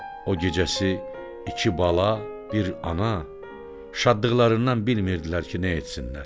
O gecəsi iki bala, bir ana şadlıqlarından bilmirdilər ki, nə etsinlər.